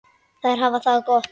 Þær hafa það gott.